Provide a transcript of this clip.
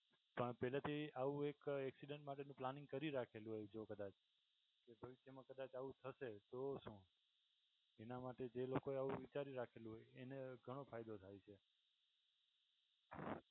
પણ પહલેથી આવું એક accident માટેનું planning કરી રાખેલું હોય જો કદાચ ઈન ફ્યુચરમાં કદાચ આવું થશે તો શું એના માટે જે લોકો એ આવું વિચારી રાખેલું હોય એને ઘણો ફાયદો થાય છે.